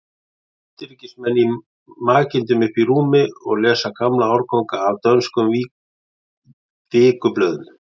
Austurríkismenn í makindum uppi í rúmi og lesa gamla árganga af dönskum vikublöðum.